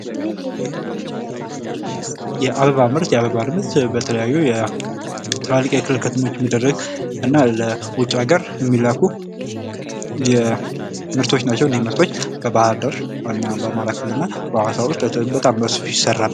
የአበባ ምርት የአበባ ምርት በተለያዩ የ ትላልቅ የክልል ከተሞች የሚደረግ እና ለውጭ ሀገር የሚላኩ ምርቶች ናቸው ።እኒህ ምርቶች በባህር ዳር እና በአማራ ክልል እና በሀዋሳ ውስጥ በጣም በሰፊው ይሠራሉ።